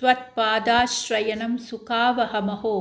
त्वत्पादाश्रयणं सुखावहमहो